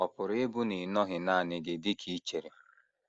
Ọ̀ pụrụ ịbụ na ị nọghị nanị gị dị ka i chere?